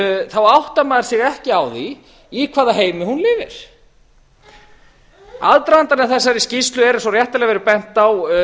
þá áttar maður sig ekki á því í hvaða heimi hún lifir aðdragandinn að þessari skýrslu er eins og réttilega hefur verið bent á